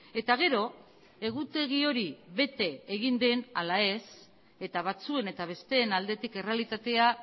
eta gero egutegi hori bete egin den ala ez eta batzuen eta besteen aldetik errealitatea